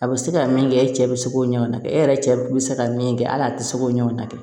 A bɛ se ka min kɛ e cɛ bɛ se k'o ɲɔgɔn na kɛ e yɛrɛ cɛ bɛ se ka min kɛ hali a tɛ se k'o ɲɔgɔn na kɛ